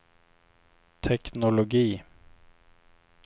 teknologi